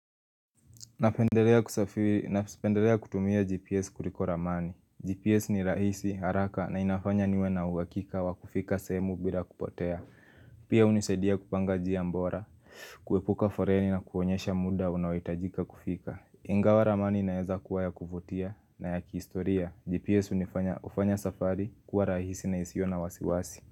Napendelea kutumia GPS kuliko ramani GPS ni rahisi haraka na inafanya niwe na uwakika wa kufika semu bila kupotea Pia unisedia kupanga njia mbora kuepuka foreni na kuonyesha muda unawetajika kufika Ingawa ramani naeza kuwaya kuvutia na ya kiistoria GPS unifanya ufanya safari kuwa rahisi na isiyo na wasiwasi.